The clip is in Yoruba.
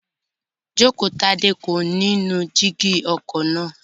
Jókotadé kò ní nu jígí ọkọ̀ náà